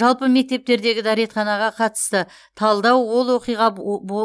жалпы мектептердегі дәретханаға қатысты талдау ол оқиға оо